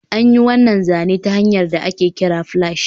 An yi wannan zane ta hanyar da ake kira splash